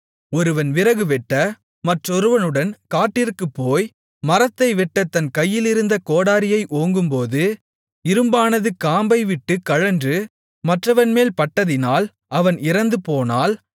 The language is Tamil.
ஒருவன் விறகுவெட்ட மற்றொருவனுடன் காட்டிற்குப்போய் மரத்தை வெட்டத் தன் கையிலிருந்த கோடரியை ஓங்கும்போது இரும்பானது காம்பைவிட்டுக் கழன்று மற்றவன்மேல் பட்டதினால் அவன் இறந்துபோனால்